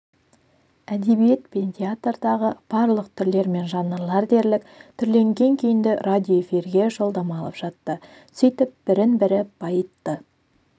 әдебиет пен театрдағы барлық түрлер мен жанрлар дерлік түрленген күйінде радиоэфирге жолдама алып жатты сөйтіп бірін-бірі байытты